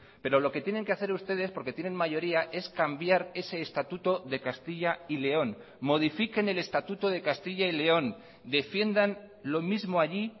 pero lo que tienen que hacer ustedes porque tienen mayoría es cambiar ese estatuto de castilla y león modifiquen el estatuto de castilla y león defiendan lo mismo allí